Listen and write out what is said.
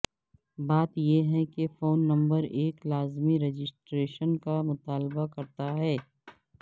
بات یہ ہے کہ فون نمبر ایک لازمی رجسٹریشن کا مطالبہ کرتا ہے